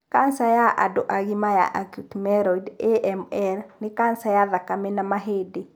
kanca ya andũ agima ya acute myeloid(AML) nĩ kanca ya thakame na mahĩndĩ.